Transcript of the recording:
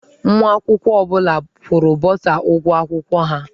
Nwa akwụkwọ ọ bụla kwụrụ bọsa ụgwọ akwụkwọ ha.